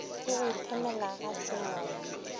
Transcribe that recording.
le go iphemela ga semoya